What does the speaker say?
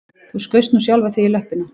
Þú skaust nú sjálfan þig í löppina